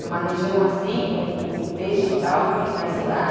Numa região assim, o peixe tal tem mais lá.